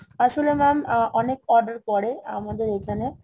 আসলে mam অনেক order পরে আমাকের এইখানে